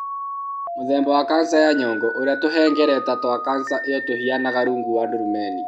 Mũthemba wa kanca ya nyongo (ũrĩa tũhengereta twa kanca ĩyo tũhianaga rungu rwa ndurumeni).